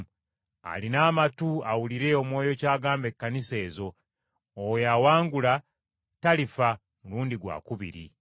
Alina amatu, awulire Omwoyo ky’agamba Ekkanisa ezo. Oyo awangula talifa mulundi gwakubiri.